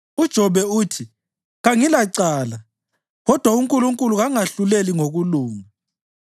UJobe uthi, ‘Kangilacala, kodwa uNkulunkulu kangahluleli ngokulunga.